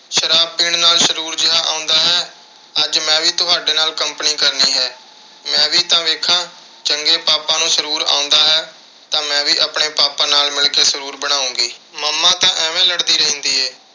ਸ਼ਰਾਬ ਪੀਣ ਨਾਲ ਸਰੂਰ ਜਿਹਾ ਆਉਂਦਾ ਹੈ। ਅੱਜ ਮੈਂ ਵੀ ਤੁਹਾਡੇ ਨਾਲ company ਕਰਨੀ ਹੈ। ਮੈਂ ਵੀ ਤਾਂ ਦੇਖਾਂ ਕਿ ਜੇ papa ਨੂੰ ਸਰੂਰ ਆਉਂਦਾ ਹੈ ਤਾਂ ਮੈਂ ਵੀ ਆਪਣੇ papa ਨਾਲ ਮਿਲ ਕੇ ਸਰੂਰ ਬਣਾਉਂਗੀ। mama ਤਾਂ ਐਵੇਂ ਲੜਦੀ ਰਹਿੰਦੀ ਏ।